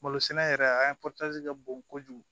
Malo sɛnɛ yɛrɛ an ye ka bon kojugu